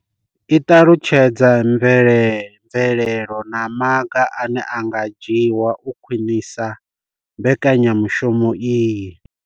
I ṱalutshedza mvelelo na maga ane a nga dzhiwa u khwinisa mbekanya mushumo iyi.